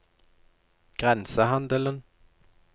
grensehandelen